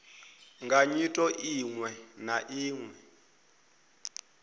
nga nyito iwe na iwe